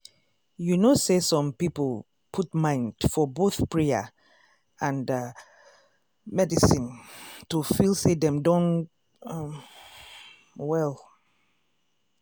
you know say some people put mind for both prayer and ah medicine to feel say dem don um well.